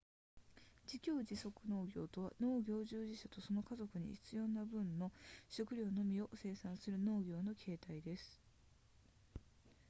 自給自足農業とは農業従事者とその家族に必要な分の食料のみを生産する農業の形態です